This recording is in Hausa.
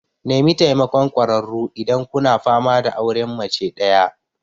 Nemi taimakon ƙwararru idan kuna fama da auren mace ɗaya.